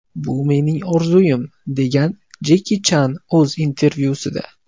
Bu mening orzuim” degan Jeki Chan o‘z intervyusida.